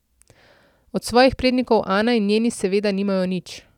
Od svojih prednikov Ana in njeni seveda nimajo nič.